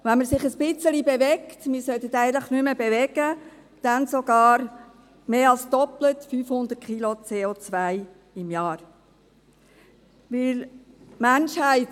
Wenn man sich ein bisschen bewegt, ist es sogar mehr als doppelt so viel, nämlich mehr als 500 Kilo CO.